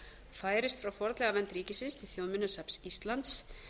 færist frá fornleifavernd ríkisins til þjóðminjasafns íslands